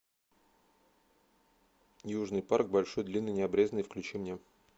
южный парк большой длинный необрезанный включи мне